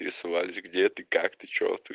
прислать где ты как ты что ты